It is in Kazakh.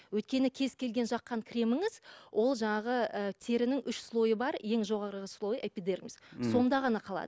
өйткені кез келген жаққан креміңіз ол жаңағы ы терінің үш слойы бар ең жоғарғы слойы эпидермис сонда ғана қалады